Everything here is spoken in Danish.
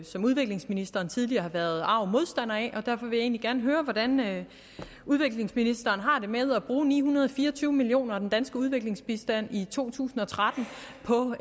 som udviklingsministeren tidligere har været arg modstander af og derfor vil jeg egentlig gerne høre hvordan udviklingsministeren har det med at bruge ni hundrede og fire og tyve million kroner af den danske udviklingsbistand i to tusind og tretten på